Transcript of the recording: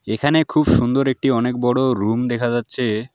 এখানে খুব সুন্দর একটি অনেক বড়ো রুম দেখা যাচ্ছে।